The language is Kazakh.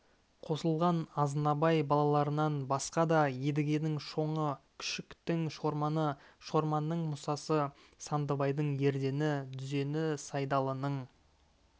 қосылған азнабай балаларынан басқа да едігенің шоңы күшіктің шорманы шорманның мұсасы сандыбайдың ердені дүзені сайдалының